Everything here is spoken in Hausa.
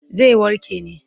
Zai warke ne.